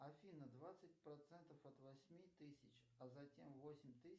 афина двадцать процентов от восьми тысяч а затем восемь тысяч